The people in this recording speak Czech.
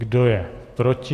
Kdo je proti?